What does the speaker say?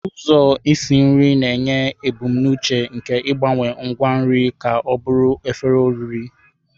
Ụzọ isi nri na-enye ebumnuche nke ịgbanwe ngwa nri ka ọ bụrụ efere oriri.